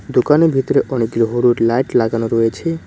দোকানের ভিতরে অনেকগুলো হলুদ লাইট লাগানো রয়েছে।